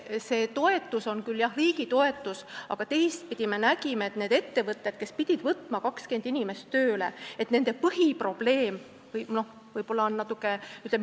See on küll riigi toetus, aga me nägime ka, et nendel ettevõtetel, kes pidid 20 inimest tööle võtma, oli põhiprobleem see, et nad ei osanud inimesi leida.